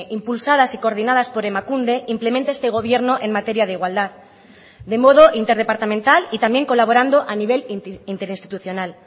impulsadas y coordinadas por emakunde implementa este gobierno en materia de igualdad de modo interdepartamental y también colaborando a nivel interinstitucional